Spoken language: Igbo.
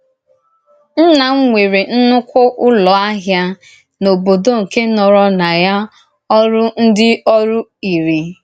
Nnà m nwerè ńnùkwú Ụ́lọ̀ ahịa n’ọ̀bòdò nke nòrò na ya orù ndí orù ìrì.